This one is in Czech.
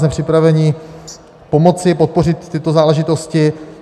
Jsme připraveni pomoci podpořit tyto záležitosti.